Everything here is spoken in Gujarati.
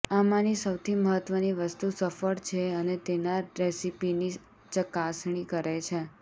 આમાંની સૌથી મહત્વની વસ્તુ સફળ છે અને તેના રેસીપીની ચકાસણી કરી છે